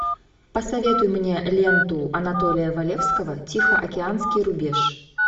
посоветуй мне ленту анатолия валевского тихоокеанский рубеж